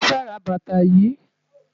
Mo fe ra bàtà yìí.